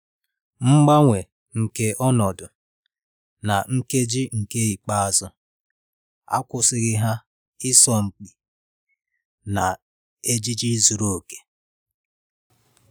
Mgbanwe nke ọnọdụ na nkeji nke ikpeazụ akwụsịghị ha ịsọ mpi na ejiji zuru oke.